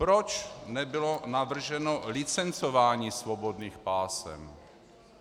Proč nebylo navrženo licencování svobodných pásem?